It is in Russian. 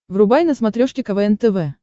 врубай на смотрешке квн тв